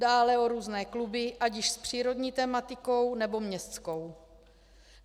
Dále o různé kluby, ať již s přírodní tematikou, nebo městskou.